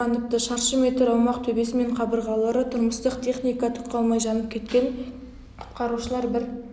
ораныпты шаршы метр аумақ төбесі мен қабырғалары тұрмыстық техника түк қалмай жанып кеткен құтқарушылар бір